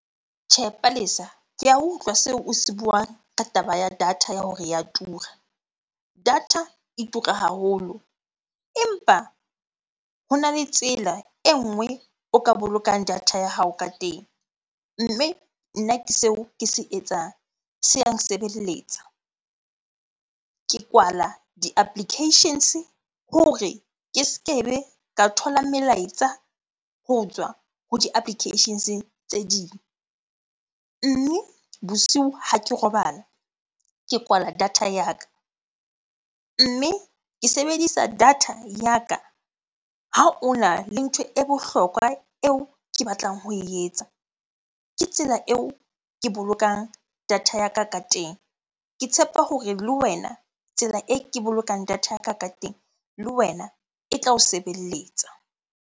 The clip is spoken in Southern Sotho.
Tjhe, Palesa. Ke a utlwa seo o se buang ka taba ya data ya hore ya tura. Data e tura haholo empa hona le tsela e nngwe o ka bolokang data ya hao ka teng, mme nna ke seo ke se etsang. Se ya nsebeletsa. Ke kwala di-applications-e hore ke ske be ka thola melaetsa ho tswa ho di-applications-e tse ding. Mme bosiu ha ke robala ke kwala data ya ka. Mme ke sebedisa data ya ka ha ona le ntho e bohlokwa eo ke batlang ho e etsa. Ke tsela eo ke bolokang data ya ka ka teng. Ke tshepa hore le wena tsela e ke bolokang data ya ka ka teng, le wena e tla o sebeletsa.